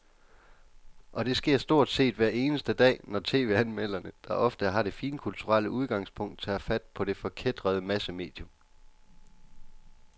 Og det sker stort set hver eneste dag, når tv-anmelderne, der ofte har det finkulturelle udgangspunkt, tager fat på det forkætrede massemedium.